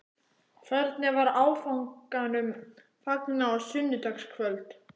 Hvernig var áfanganum fagnað á sunnudagskvöld?